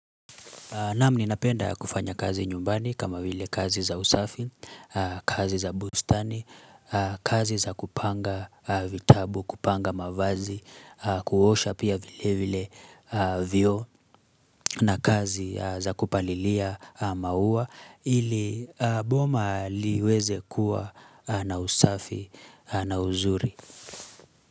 Naam ninapenda kufanya kazi nyumbani kama vile kazi za usafi, kazi za bustani, kazi za kupanga vitabu, kupanga mavazi, kuosha pia vile vioo na kazi za kupalilia maua ili boma liweze kuwa na usafi na uzuri.